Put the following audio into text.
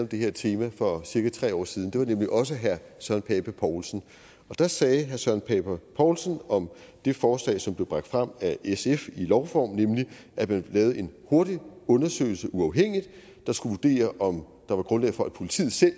det her tema for cirka tre år siden det var nemlig også herre søren pape poulsen og da sagde herre søren pape poulsen om det forslag som blev bragt frem af sf i lovform nemlig at man lavede en hurtig undersøgelse der uafhængigt skulle vurdere om der var grundlag for at politiet selv og